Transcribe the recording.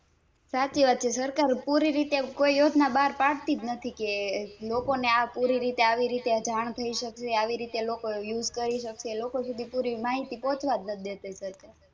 સાચી વાત છે સરકાર પુરીરીતે કોઈ યોજના બાર પાડતીજ નથી કે લોકોને પુરીરીતે આવી રીતે જાણ થઈ શકવી આવી રીતે લોકો Use કરી સકે લોકો સુધી પૂરી માહિતી પોચવાજ નથી દેતી સરકાર